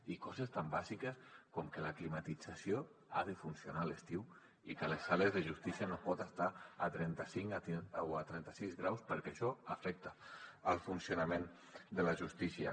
i coses tan bàsiques com que la climatització ha de funcionar a l’estiu i que a les sales de justícia no es pot estar a trenta cinc o a trenta sis graus perquè això afecta el funcionament de la justícia